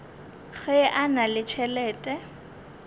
ge a na le tšhelete